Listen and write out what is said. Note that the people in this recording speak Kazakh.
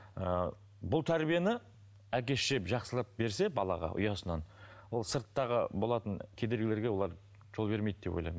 ыыы бұл тәрбиені әке шеше жақсылап берсе балаға ұясынан ол сырттағы болатын кедергілерге олар жол бермейді деп ойлаймын